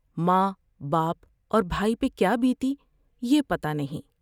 ماں ، باپ اور بھائی پر کیا بیتی یہ پتہ نہیں ۔